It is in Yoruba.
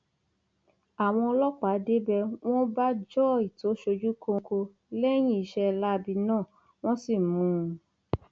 àwọn ọlọpàá débẹ wọn bá joy tó ṣojú kóńkó lẹyìn iṣẹ láabi náà wọn sì mú un